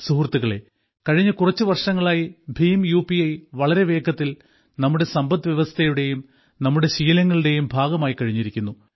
സുഹൃത്തുക്കളേ കഴിഞ്ഞ കുറച്ചു വർഷങ്ങളായി ഭീം യു പി ഐ വളരെ വേഗത്തിൽ നമ്മുടെ സമ്പദ്വ്യവസ്ഥയുടെയും നമ്മുടെ ശീലങ്ങളുടെയും ഭാഗമായിക്കഴിഞ്ഞിരിക്കുന്നു